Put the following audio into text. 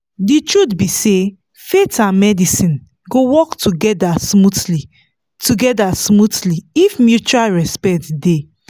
the truth be say faith and medicine go work together smoothly together smoothly if mutual respect dey.